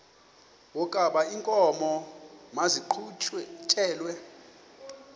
wokaba iinkomo maziqhutyelwe